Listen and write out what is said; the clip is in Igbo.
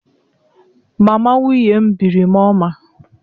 Mama nwunye m biri m ọma.